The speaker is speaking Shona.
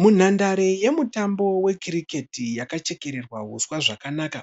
Munhandare yemutambo wecricket yakachekererwa huswa zvakanaka.